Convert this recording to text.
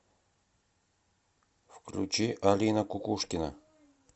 включи алина кукушкина